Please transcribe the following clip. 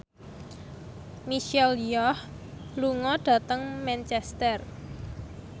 Michelle Yeoh lunga dhateng Manchester